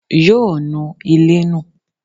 Yóò nu ilé nù.